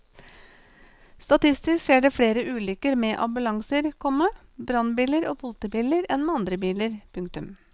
Statistisk skjer det flere ulykker med ambulanser, komma brannbiler og politibiler enn med andre biler. punktum